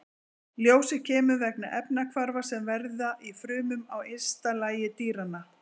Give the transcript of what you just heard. Ljósið kemur vegna efnahvarfa sem verða í frumum á ysta lagi dýranna.